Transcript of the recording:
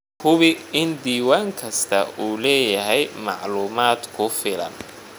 Hubi in diiwaan kasta uu leeyahay macluumaad ku filan.